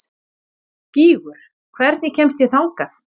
Gígur, hvernig kemst ég þangað?